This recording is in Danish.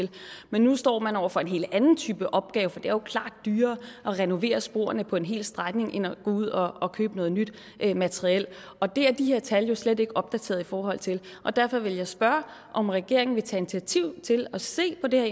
det men nu står man over for en helt anden type opgave for det er jo klart dyrere at renovere sporene på en hel strækning end at gå ud og købe noget nyt materiel og det er de her tal jo slet ikke opdateret i forhold til derfor vil jeg spørge om regeringen vil tage initiativ til at se på det